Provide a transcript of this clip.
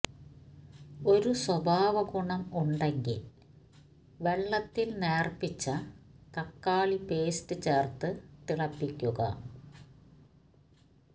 ഒരു സ്വഭാവഗുണം ഉണ്ടെങ്കിൽ വെള്ളത്തിൽ നേർപ്പിച്ച തക്കാളി പേസ്റ്റ് ചേർത്ത് തിളപ്പിക്കുക